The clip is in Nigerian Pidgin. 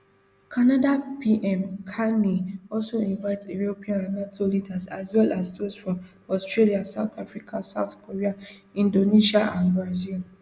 canada pm carney also invite european and nato leaders and well as dose from australia south africa south korea inAcceptedsia and brazil